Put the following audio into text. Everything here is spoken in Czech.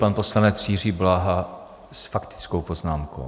Pan poslanec Jiří Bláha s faktickou poznámkou.